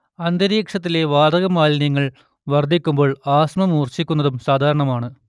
അന്തരീക്ഷത്തിലെ വാതകമാലിന്യങ്ങൾ വർദ്ധിക്കുമ്പോൾ ആസ്മ മൂർച്ഛിക്കുന്നതും സാധാരണയാണ്